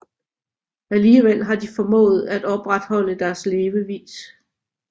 Alligevel har de formået at opretholde deres levevis